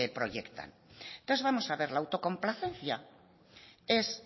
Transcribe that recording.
proyecta entonces vamos a ver la autocomplacencia es